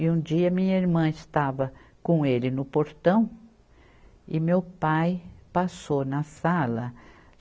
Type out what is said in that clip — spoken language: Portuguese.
E um dia minha irmã estava com ele no portão e meu pai passou na sala.